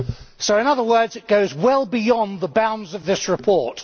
So in other words it goes well beyond the bounds of this report.